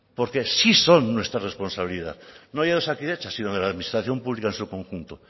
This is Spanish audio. porque sí son nuestra responsabilidad no ya de osakidetza sino de la administración pública en su conjunto